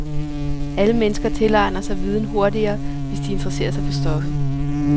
Alle mennesker tilegner sig viden hurtigere, hvis de interesserer sig for stoffet.